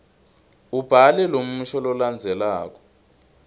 ubhale lomusho lolandzelako